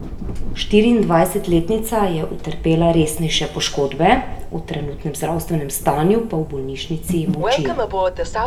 Štiriindvajsetletnica je utrpela resnejše poškodbe, o trenutnem zdravstvenem stanju pa v bolnišnici molčijo.